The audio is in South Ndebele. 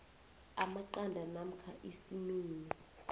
amaqanda namkha isimeni